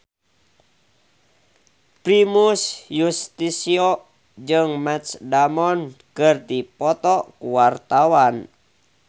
Primus Yustisio jeung Matt Damon keur dipoto ku wartawan